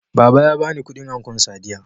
Baba ya bani kudin ankon Sadiya